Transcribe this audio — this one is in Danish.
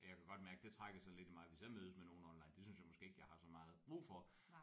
Og jeg kan godt mærke det trækker sådan lidt i mig hvis jeg mødes med nogen online det synes jeg måske ikke jeg har så meget brug for